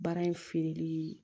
Baara in feereli